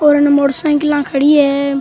और अन motor cycle खड़ी है।